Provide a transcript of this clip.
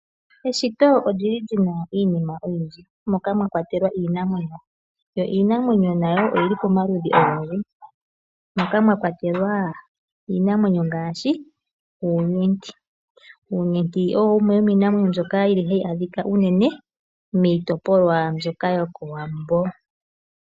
Eshito olyi li lyina iinima ooyindji, moka mwakwatelwa iinamwenyo. Iinamwenyo nayo oyi li pamaludhi ogendji, moka mwakwatelwa iinamwenyo ngaashi, uunyenti. Uunyenti owo wumwe womiinamwenyo mbyoka hayi adhika miitopolwa mbyoka yokowambo.